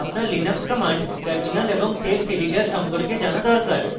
আপনার linux commands terminal এবং text editor সম্পর্কে জানা দরকার